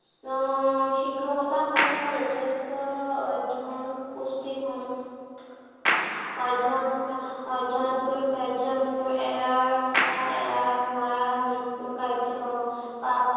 আহ শিক্ষকতা সময়ত যথেষ্ট অধ্য়য়ন পুষ্টিসম, অধ্য়য়ন আহ অধ্য়য়ন কাৰী কাৰ্য মোৰ এৰাৰ আহ এৰাৰ নোৱাৰাৰ মোৰ নিত্য় কাৰ্য হব।